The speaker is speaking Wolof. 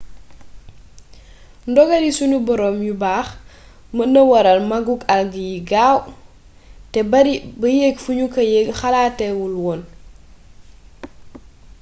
ndogali sunu boroom yu baax mën na waral màggug algues yi gaaw te bari ba yegg fu ñu xalaatee wul woon